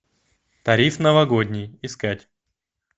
тариф новогодний искать